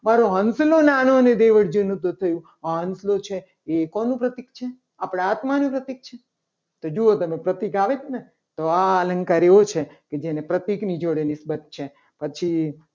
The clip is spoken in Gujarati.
મારો હંસલો નાનો ને દેવળ જૂનું તો થયું આ હસલો છે. એ કોનું પ્રતીક છે? આપણા આત્માનું પ્રતીક છે. તો જુઓ તમે પ્રતીક આવે છે. ને તો આ અલંકાર એવો છે. કે જેને પ્રતીકની જોડે નિસબત છે. પછી